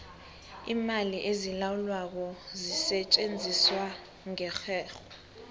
iimali ezilawulwako zisetjenziswa ngerherho